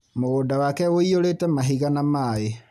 Mũgũnda wake wũiyũrĩte mahiga na maĩ.